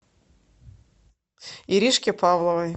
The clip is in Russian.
иришке павловой